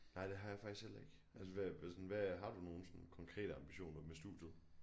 Nej det har jeg faktisk heller ikke altså hvad hvad sådan hvad har du nogle sådan konkrete ambitioner med studiet